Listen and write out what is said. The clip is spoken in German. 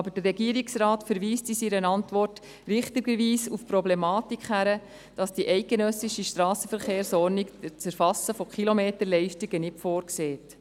Aber der Regierungsrat verweist in seiner Antwort richtigerweise auf die Problematik, dass die eidgenössische Strassenverkehrsordnung das Erfassen von Kilometerleistungen nicht vorsieht.